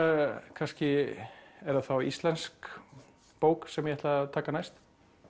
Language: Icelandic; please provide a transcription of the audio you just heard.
kannski er það þá íslensk bók sem ég ætla að taka næst